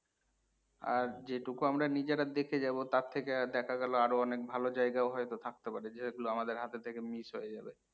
আর যেটুকু আমরা নিজেরা দেখে যাবো তার থেকে আর দেখা গেল আর ও অনেক ভালো জায়গা ও হইত থাকতে পারে যেগুলো আমাদের হাতের থেকে miss হয়ে যাবে।